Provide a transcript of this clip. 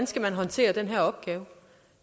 skal håndtere den her opgave